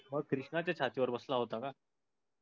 मग कृष्णाच छाती वर बसला हुता का?